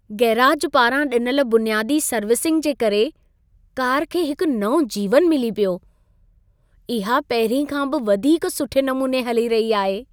Garage पारां ॾिनल बुनियादी सर्विसिंग जे करे कार खे हिकु नओं जीवनु मिली पियो। इहा पहिरीं खां बि वधीक सुठे नमूने हली रही आहे।